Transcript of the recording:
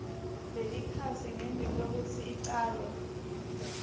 lelikhasi ngembikwekutsi ucale